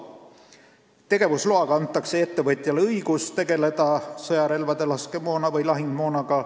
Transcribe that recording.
Tegevusloaga antakse ettevõtjale õigus tegeleda sõjarelvade, laskemoona või lahingumoonaga.